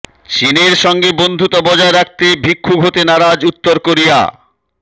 চিনের সঙ্গে বন্ধুতা বজায় রাখতে ভিক্ষুক হতে নারাজ উত্তর কোরিয়া